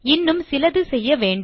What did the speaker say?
இன்னும் சிலது செய்ய வேண்டும்